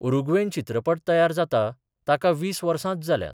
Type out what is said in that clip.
Uruguayan चित्रपट तयार जाता, ताका वीस वर्सांच जाल्या.